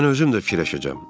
Mən özüm də fikirləşəcəm.